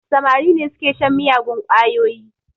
Samari ne su ke shan miyagun ƙwayoyi